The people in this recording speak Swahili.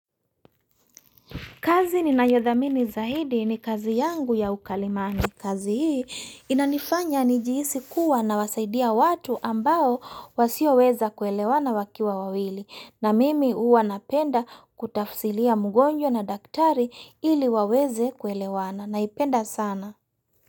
Kazi ninayo dhamini zaidi ni kazi yangu ya ukalimani. Kazi hii inanifanya nijiisi kuwa nawasaidia watu ambao wasio weza kuelewana wakiwa wawili. Na mimi huwa napenda kutafsiria mugonjwa na daktari ili waweze kuelewana. Naipenda sana.